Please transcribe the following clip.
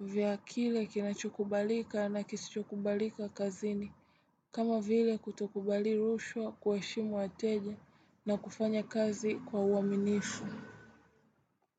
vya kile kinachokubalika na kisichokubalika kazini. Kama vile kutokubali rushwa kueshimu wateja na kufanya kazi kwa uaminifu.